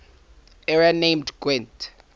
area named gwent